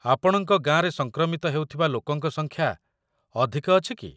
ଆପଣଙ୍କ ଗାଁରେ ସଂକ୍ରମିତ ହେଉଥିବା ଲୋକଙ୍କ ସଂଖ୍ୟା ଅଧିକ ଅଛି କି?